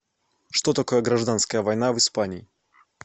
что такое гражданская война в испании